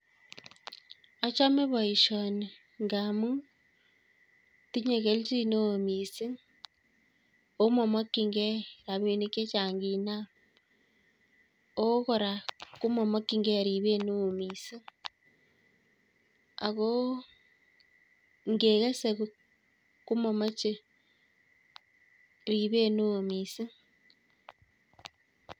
Achame boisoni, ngaamu tinye kelchineo miising' omamakchingei rabinik chechang' miising' ngiiinam. o kora komamakchingei ribeet neoo miising' ako ngekese komamache ribet neoo miising'